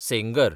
Sengar